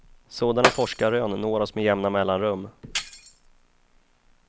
Sådana forskarrön når oss med jämna mellanrum.